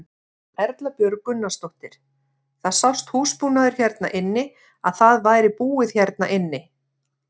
Erla Björg Gunnarsdóttir: Það sást húsbúnaður hérna inni að það væri búið hérna inni?